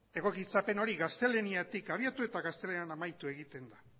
egokitzapen hori gaztelaniatik abiatu eta gaztelanian amaitu egiten da